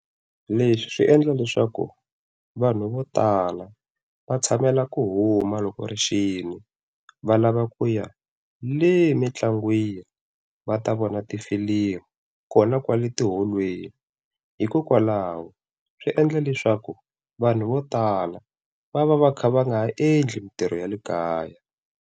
Leswi swi endla leswaku vanhu vo tala va tshamela ku huma loko rixile va lava ku ya le mintlangwini va ta vona na tifilimi kona kwale tiholweni hikokwalaho swi endla leswaku vanhu vo tala va va va kha va nga endli mintirho ya le kaya.